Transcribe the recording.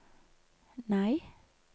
nei